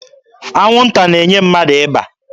Anwụnta na-enye mmadụ ịba.